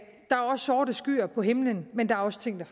sorte skyer på himlen men der er også ting